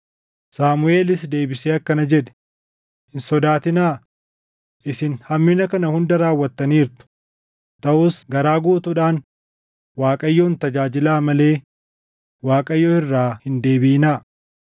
Saamuʼeelis deebisee akkana jedhe; “Hin sodaatinaa; isin hammina kana hunda raawwattaniirtu; taʼus garaa guutuudhaan Waaqayyoon tajaajilaa malee Waaqayyo irraa hin deebiʼinaa.